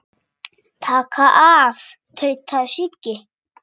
Taka af. tautaði Siggi.